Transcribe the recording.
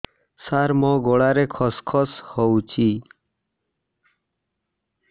ସାର ମୋ ଗଳାରେ ଖସ ଖସ ହଉଚି